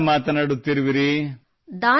ತಾವು ಎಲ್ಲಿಂದ ಮಾತನಾಡುತ್ತಿರುವಿರಿ